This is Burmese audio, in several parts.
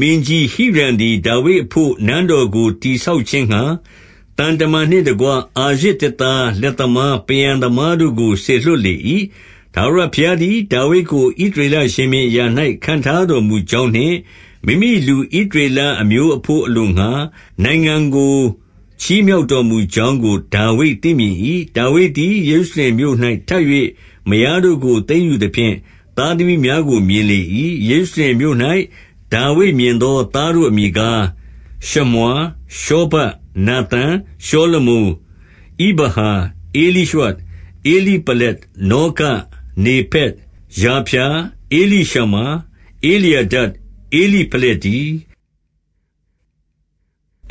မင်းကြီးဟိရံသည် ဒါဝိဒ်အဘို့ နန်းတော်ကို တည်ဆောက်ခြင်းငှါ၊ သံတမန်နှင့်တကွ အာရဇ်သစ်သား၊ လက်သမား၊ ပန်းရန်သမားတို့ကို စေလွှတ်လေ၏။ 2 ထာဝရဘုရားသည် ဒါဝိဒ်ကို ဣသရေလ ရှင်ဘုရင်အရာ၌ ခန့်ထားတော်မူကြောင်းနှင့် မိမိလူဣသ ရေလအမျိုးအဘို့အလိုငှါ၊ နိုင်ငံကို ချီးမြှောက်တော်မူ ကြောင်းကို ဒါဝိဒါသိမြင်လေ၏။ 3 ဒါဝိဒ်သည် ယေရုရှလင်မြို့၌ ထပ်၍မယားတို့ကို သိမ်းယူသဖြင့် သားသမီးများတို့ကို မြင်လေ၏။ 4 ယေရုရှလင်မြို့၌ ဒါဝိဒ်မြင်သော သားတို့အမည် ကား၊ ရှမွာ၊ ရှောဗပ်၊ နာသန်၊ ရှောလမုန်၊ 5 ဣဗဟာ၊ ဧလိရွှ၊ ဧလိပလက်၊ 6 နောဂ၊ နေဖက်၊ ယာဖျာ၊ 7 ဧလိရှမာ၊ ဧလျာဒ၊ ဧလိဖလက်တည်း။ 8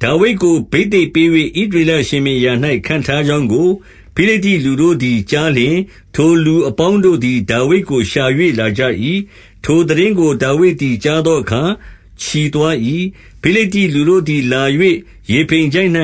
ဒါဝိဒ်ကို ဘိသိက်ပေး၍ ဣသရေလ ရှင်ဘုရင် အရာ၌ ခန့်ထားကြောင်းကို ဖိလိတ္တိ လူတို့သည်ကြားလျှင်၊ ထိုသူအပေါင်းတို့သည် ဒါဝိဒ်ကို ရှာ၍ လာကြ၏။ ထိုသိတင်းကို ဒါဝိဒ်သည် ကြားသောအခါ ချီသွား၏။ 9 ဖိလိတ္တိလူတို့သည် လာ၍ရေဖိမ်ချိုင့်၌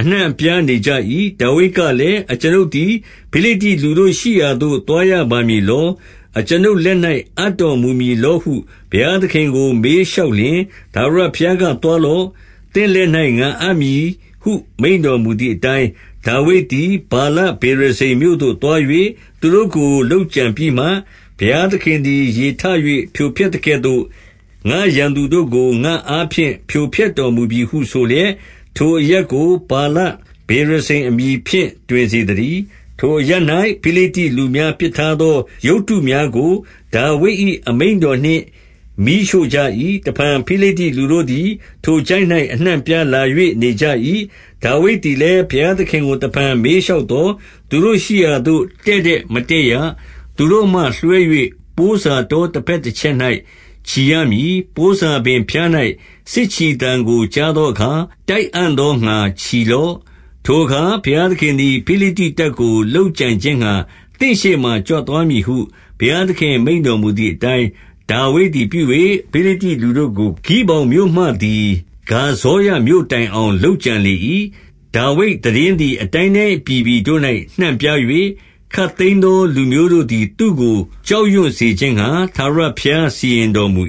အနှံ့ အပြားနေကြ၏။ 10 ဒါဝိဒ်ကလည်း၊ အကျွန်ုပ်သည် ဖိလိတ္တိလူတို့ ရှိရာသို့ သွားရပါမည်လော။ အကျွန်ုပ်လက်၌ အပ်တော် မူမည်လောဟု ဘုရားသခင်ကို မေးလျှောက်လျှင်၊ ထာဝရဘုရားက သွားလော့။ သင့်လက်၌ ငါအပ်မည်ဟု မိန့်တော်မူသည်အတိုင်း၊ 11 ဒါဝိဒ်သည် ဗာလပေရဇိမ်မြို့သို့သွား၍ သူတို့ကို လုပ်ကြံပြီးမှ၊ ဘုရားသခင်သည် ရေထ၍ဖြိုဖျက်သကဲ့သို့ ငါ့ရန်သူတို့ကို ငါ့အားဖြင့် ဖြိုဖျက်တော်မူပြီဟုဆိုလျက်၊ ထိုအရပ်ကို ဗာလပေရဇိမ်အမည်ဖြင့် တွင်စေသတည်း။ 12 ထိုအရပ်၌ ဖိလိတ္တိလူများ ပစ်ထားသော ရုပ်တု များကို ဒါဝိဒ်၏အမိန့်တော်နှင့် မီးရှို့ကြ၏။ 13 တဖန်ဖိလိတ္တိလူတို့သည် ထိုချိုင့်၌ အနှံ့အပြား လာ၍နေကြ၏။ 14 ဒါဝိဒ်သည်လည်း ဘုရားသခင်ကို တဖန်မေးလျှောက် သော်၊ သူတို့ရှိရာသို့ တည့်တည့်မတက်ရ။ သူတို့မှလွှဲ၍ ပိုးစာတောတဘက်တချက်၌ ချီရမည်။ 15 ပိုးစာပင်ဖျား၌ စစ်ချီသံကိုကြားသောအခါ၊ တိုက်အံ့သောငှါ ချီလော့။ ထိုအခါ ဘုရားသခင်သည် ဖိလိတ္တိတပ်ကို လုပ်ကြံခြင်းငှါ သင့်ရှေ့မှာ ကြွသွားမည်ဟု ဘုရားသခင် မိန့်တော်မူသည်အတိုင်း၊ 16 ဒါဝိဒ်သည် ပြု၍ ဖိလိတ္တိလူတို့ကို ဂိဗောင်မြို့မှ သည် ဂါဇေရမြို့တိုင်အောင် လုပ်ကြံလေ၏။ 17 ဒါဝိဒ်သိတင်းသည်အတိုင်းတိုင်း အပြည်ပြည် တို့၌ နှံ့ပြား၍၊ ခပ်သိမ်းသော လူမျိုးတို့သည် သူ့ကို ကြောက်ရွံ့စေခြင်းငှါ ထာဝရဘုရားစီရင်တော်မူ